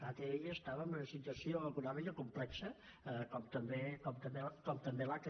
atll estava en una situació econòmica complexa com també l’aca